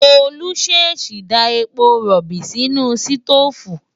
Tolú ṣèèṣì da epo rọ̀bì sínú sítóòfù.